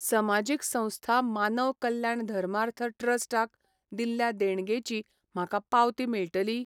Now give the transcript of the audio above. समाजीक संस्था मानव कल्याण धर्मार्थ ट्रस्ट क दिल्ल्या देणगेची म्हाका पावती मेळटली?